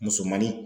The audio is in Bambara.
Musomanin